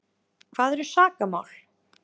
Hvað eru sakamál?